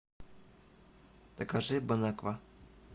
закажи бон аква